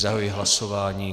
Zahajuji hlasování.